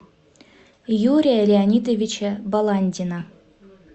юрия леонидовича баландина